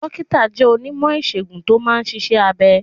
Dókítà jẹ́ onímọ̀ ìsègùn tó máa ń ṣiṣẹ́ abẹ